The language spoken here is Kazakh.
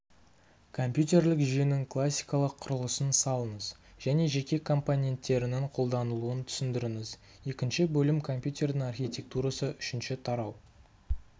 компьютерлік жүйенің классикалық құрылысын салыңыз және жеке компоненттерінің қолданылуын түсіндіріңіз екінші бөлім компьютердің архитектурасы үшінші тарау